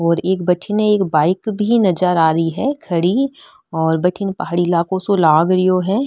और एक बठने एक बाइक भी नजर आ रही है खड़ी और बठन पहाड़ी इलाको सो लाग रिया है।